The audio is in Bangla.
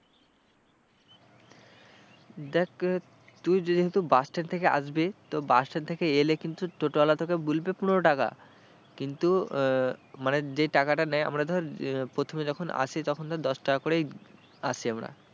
দেখ তুই যেহেতু bus stand থেকে আসবি তো bus stand থেকে এলে কিন্তু টোটোওয়ালা তোকে বলবে পনেরো টাকা কিন্তু মানে যে টাকাটা নেয় আমরা ধর প্রথমে যখন আসি তখন ধর দশ টাকা করেই আসি আমরা।